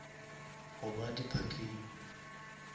goba di parkeng